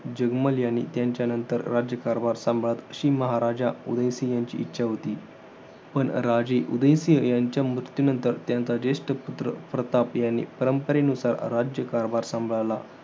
जगमल यांनी त्यांच्या नंतर राज्यकारभार सांभाळत, अशी महाराजा उदयसिंह यांची इच्छा होती. पण राजे उदयसिंह यांच्या मृत्यूनंतर त्यांचा जेष्ठ पुत्र प्रताप यांनी परंपरेनुसार राज्यकारभार सांभाळला.